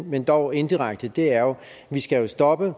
men dog indirekte er jo at vi skal stoppe